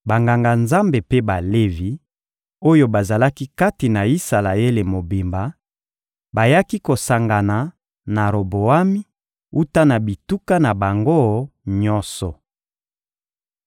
Banganga-Nzambe mpe Balevi oyo bazalaki kati na Isalaele mobimba bayaki kosangana na Roboami wuta na bituka na bango nyonso.